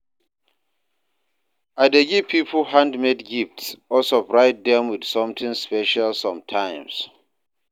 I dey give people handmade gifts or surprise dem with something special sometimes.